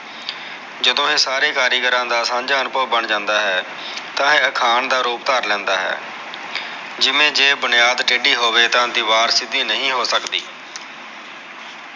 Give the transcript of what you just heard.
ਜਦੋ ਇਹ ਸਾਰੇ ਕਾਰੀਗਰਾ ਦਾ ਸਾਂਝਾ ਅਨੁਭਵ ਬਣ ਜਾਂਦਾ ਹੈ ਤਾ ਇਹ ਅਖਾਣ ਦਾ ਰੂਪ ਧਾਰ ਲੈਂਦਾ ਹੈ ਜਿਵੇ ਜੇ ਬੁਨਿਆਦ ਟੇਡੀ ਹੋਵੇ ਤਾ ਦੀਵਾਰ ਸਿਧੀ ਨਹੀ ਹੋ ਸਕਦੀ